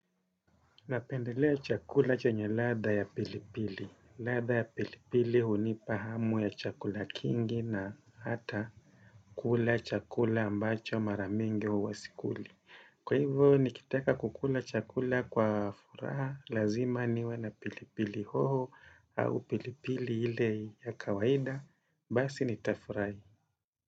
Napendelea chakula chenye ladha ya pilipili. Ladha ya pilipili hunipa hamu ya chakula kingi na hata kula chakula ambacho maramingi huwa sikuli. Kwa hivo nikitaka kukula chakula kwa furaha, lazima niwe na pilipili hoho au pilipili ile ya kawaida, basi nitafurahi.